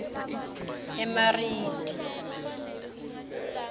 emariti